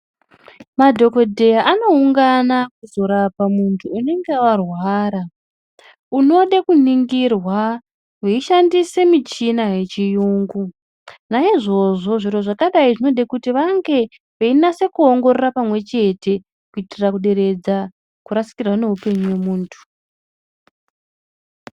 Madhokoteya anoungana kuzorapa muntu unenge arwara muntu unode kuningirwa veishandisa michini yechiyungu naizvozvo zviro zvakadai zvinode kuti vange veinasa kuongorora pamwe chete kuitira kuderedza kurasikirwa neupenyu mumuntu .